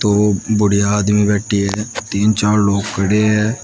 वो बूढ़े आदमी बैठी है तीन चार लोग खड़े है।